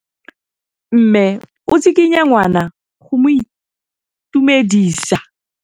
Mme o tsikitla ngwana go mo itumedisa.